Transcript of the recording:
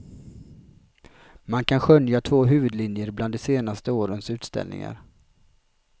Man kan skönja två huvudlinjer bland de senaste årens utställningar.